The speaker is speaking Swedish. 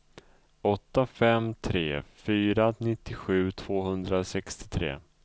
åtta fem tre fyra nittiosju tvåhundrasextiotre